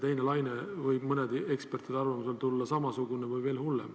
Teine laine võib mõne eksperdi arvates tulla ju samasugune või veel hullem.